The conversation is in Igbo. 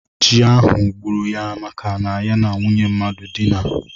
Chi ahụ gburu ya maka na ya na nwunye mmadụ dina.